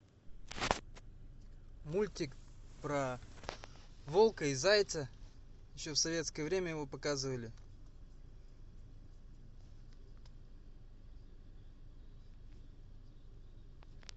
мультик про волка и зайца еще в советское время его показывали